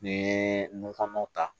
N'i ye nun kɔnɔw ta